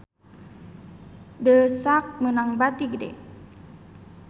The Sak meunang bati gede